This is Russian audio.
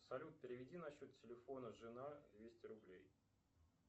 салют переведи на счет телефона жена двести рублей